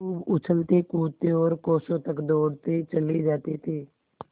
खूब उछलतेकूदते और कोसों तक दौड़ते चले जाते थे